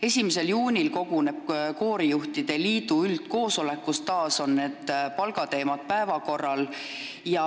1. juunil koguneb koorijuhtide liit üldkoosolekule, kus on taas päevakorral palgateemad.